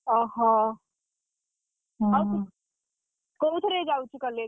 ଓହୋ, ଆଉ ତୁ କୋଉଥିରେ ଯାଉଛୁ college ?